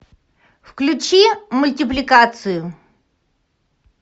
включи мультипликацию